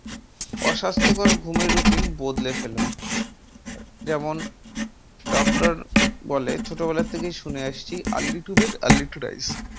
অস্বাস্থ্যকর ঘুমের রুটিন বদলে ফেলুন যেমন doctor বলে ছোট বেলা থেকে ই শুনে আসছি early to get early to rise